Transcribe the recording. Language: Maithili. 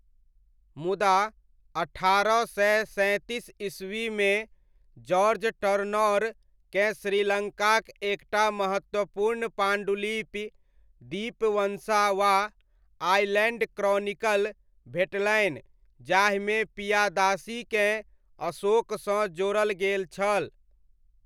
मुदा, अठारह सय सैँतीस ईस्वीमे, जार्ज टर्नौर केँ श्रीलङ्काक एकटा महत्वपूर्ण पाण्डुलिपि, दीपवंसा वा 'आइलैण्ड क्रॉनिकल' भेटलनि जाहिमे पियादासीकेँ अशोकसँ जोड़ल गेल छल।